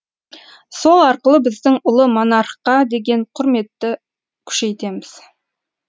сол арқылы біздің ұлы монархқа деген құрметті күшейтеміз